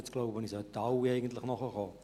Ich denke, jetzt sollten es alle verstehen.